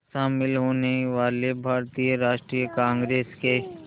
शामिल होने वाले भारतीय राष्ट्रीय कांग्रेस के